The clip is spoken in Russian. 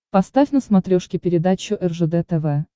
поставь на смотрешке передачу ржд тв